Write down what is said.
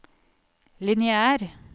lineær